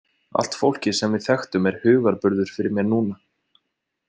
Allt fólkið sem við þekktum er hugarburður fyrir mér núna.